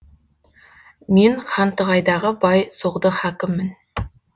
мен хантығайдағы бай соғды хакіммін